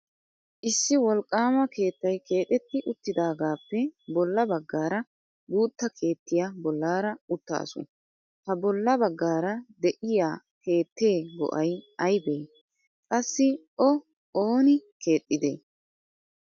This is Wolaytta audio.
Issi wolqqama keettay keexxeti uttidaagappe bolla baggaara guutta keettiya bollaara uttaasu. ha bolla baggaara de'iyaa keettee go''ay aybe? qassi O ooni keexxide?